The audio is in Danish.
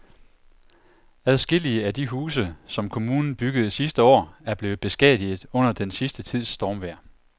Adskillige af de huse, som kommunen byggede sidste år, er blevet beskadiget under den sidste tids stormvejr.